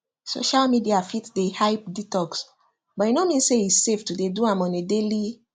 social media fit dey hype detox but e no mean say e safe to dey do am on a daily